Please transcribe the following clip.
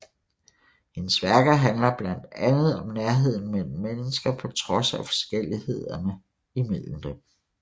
Hendes værker handler blandt andet om nærheden mellem mennesker på trods af forskelligheden mellem dem